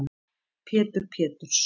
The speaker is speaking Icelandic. Pétur Péturs